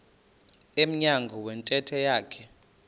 emnyango wentente yakhe